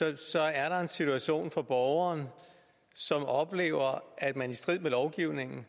og så er der en situation for borgeren som oplever at man i strid med lovgivningen